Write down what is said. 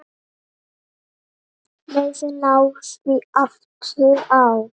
Leiðin lá því aftur á